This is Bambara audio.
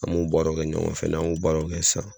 An b'o baaraw kɛ ɲɔgɔnfɛ n'an y'o baaraw kɛ sisan